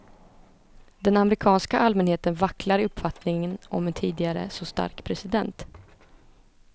Den amerikanska allmänheten vacklar i uppfattningen om en tidigare så stark president.